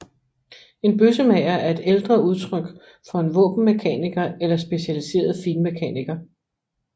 En bøssemager er et ældre udtryk for en våbenmekaniker eller specialiseret finmekaniker